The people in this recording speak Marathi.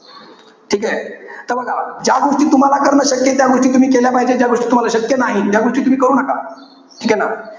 ठीकेय? ज्या गोष्टी तुम्हाला करणं शक्य आहे, त्या गोष्टी तुम्ही केल्या पाहिजे. ज्या गोष्टी तुम्हाला शक्य नाही, त्या तुम्ही करू नका. ठीके ना?